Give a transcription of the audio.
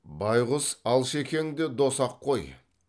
байғұс алшекең де дос ақ қой